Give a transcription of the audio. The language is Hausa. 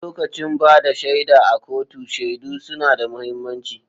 Lokacin ba da shaida a kotu, shaidu suna da mahimmanci.